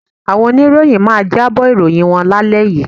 Àwọn oníròyìn máa jábọ̀ ìròyìn wọn lálẹ́ yìí